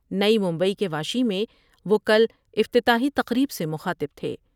نئی ممبئی کے واشی میں وہ کل افتتاحی تقریب سے مخاطب تھے ۔